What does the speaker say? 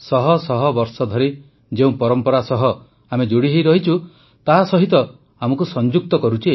ଶହ ଶହ ବର୍ଷ ଧରି ଯେଉଁ ପରମ୍ପରା ସହ ଆମେ ଯୋଡ଼ି ହୋଇ ରହିଛୁ ତାସହିତ ଆମକୁ ସଂଯୁକ୍ତ କରୁଛି